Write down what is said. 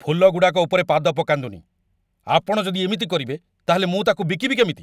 ଫୁଲଗୁଡ଼ାକ ଉପରେ ପାଦ ପକାନ୍ତୁନି! ଆପଣ ଯଦି ଏମିତି କରିବେ, ତା'ହେଲେ ମୁଁ ତା'କୁ ବିକିବି କେମିତି!